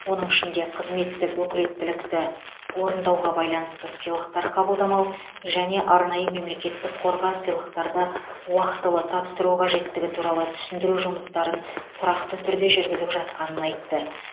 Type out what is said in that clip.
оның ішінде қызметтік өкілеттілікті орындауға байланысты сыйлықтар қабылдамау және арнайы мемлекеттік қорға сыйлықтарды уақытылы тапсыру қажеттігі туралы түсіндіру жұмыстарын тұрақты түрде жүргізіп жатқанын айтты